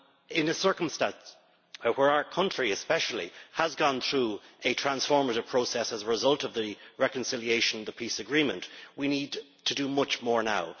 In the circumstances where our country, especially, has gone through a transformative process as a result of the reconciliation the peace agreement we need to do much more now.